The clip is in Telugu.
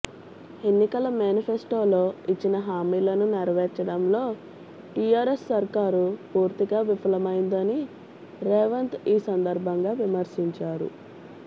ఎన్నికల మేనిఫెస్టోలో ఇచ్చిన హామీలను నెరవేర్చడంలో టీఆర్ఎస్ సర్కారు పూర్తిగా విఫలమైందని రేవంత్ ఈ సందర్భంగా విమర్శించారు